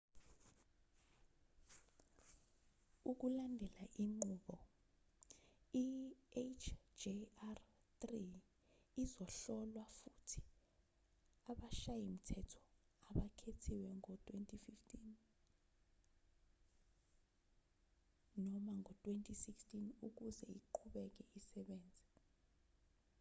ukulandela inqubo i-hjr-3 izohlolwa futhi abashayi-mthetho abakhethiwe ngo-2015 noma ngo-2016 ukuze iqhubeke isebenza